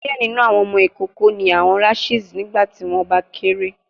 Diẹ ninu awọn ọmọ ikoko ni awọn rashes nigbati wọn ba kere